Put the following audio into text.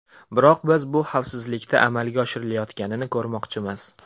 Biroq biz bu xavfsizlikda amalga oshirilayotganini ko‘rmoqchimiz.